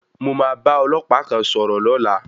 Mo máa bá ọlọ́pàá kan sọ̀rọ̀ lọ́la.